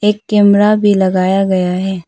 एक कैमरा भी लगाया गया है।